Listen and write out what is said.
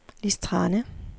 Lis Thrane